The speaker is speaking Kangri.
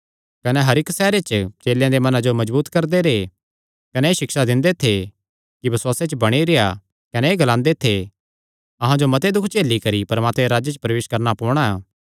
कने हर इक्की सैहरे च चेलेयां दे मना जो मजबूत करदे रैह् कने एह़ सिक्षा दिंदे थे कि बसुआसे च बणी रेह्आ कने एह़ ग्लांदे थे अहां जो मते दुख झेली करी परमात्मे दे राज्जे च प्रवेश करणा पोणा